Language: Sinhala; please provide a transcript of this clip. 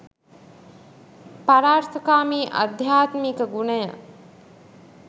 පරාර්ථකාමී අධ්‍යාත්මික ගුණය